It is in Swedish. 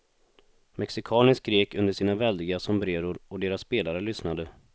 Mexikaner skrek under sina väldiga sombreror och deras spelare lyssnade.